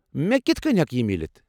مےٚ كِتھہٕ کٕنۍ ہیكہِ یہِ میلِتھ ؟